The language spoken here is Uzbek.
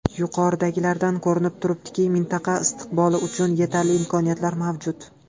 Yuqoridagilardan ko‘rinib turibdiki, mintaqa istiqboli uchun yetarli imkoniyatlar mavjud.